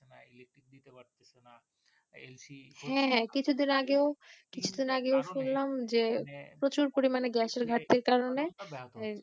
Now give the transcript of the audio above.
হ্যাঁ কিছুদিন আগে কিছুদিন আগেও শুনলাম যে প্রচুর পরিমাণে গ্যাসের ঘাটতির কারণে